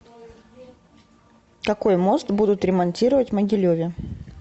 какой мост будут ремонтировать в могилеве